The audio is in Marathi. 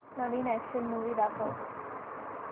नवीन अॅक्शन मूवी दाखव